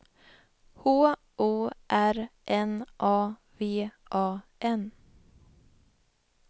H O R N A V A N